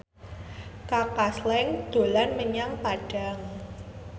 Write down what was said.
Kaka Slank dolan menyang Padang